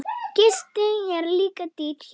Gisting er líka dýr hér.